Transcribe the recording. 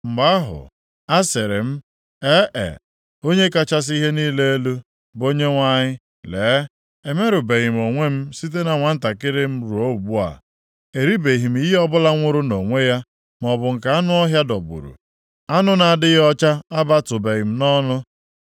Mgbe ahụ, asịrị m, “E e, Onye kachasị ihe niile elu, bụ Onyenwe anyị lee, emerụbeghị m onwe m site na nwantakịrị m ruo ugbu a, eribeghị ihe ọbụla nwụrụ nʼonwe ya, maọbụ nke anụ ọhịa dọgburu, anụ na-adịghị ọcha abatụbeghị m nʼọnụ.”